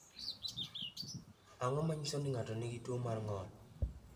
Ang’o ma nyiso ni ng’ato nigi tuwo mar ng’ol?